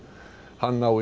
hann á